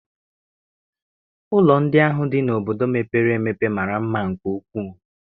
Ụlọ ndị ahụ dị n'obodo mepere emepe mara mma nke ukwuu.